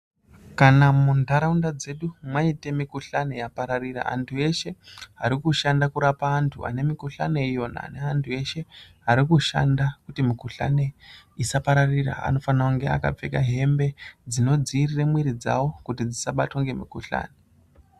Kana muntharaunda dzedu maite mikuhlani yapararire anthu eshe ari kushanda kurapa anthu ane mikuhlani iyona neanthu eshe ari kushanda kuti mikuhlani isapararira anofana kunge akapfekq hembe dzinodziiriravmwiri dzao kuti dzisabatwa ngemukuhlani.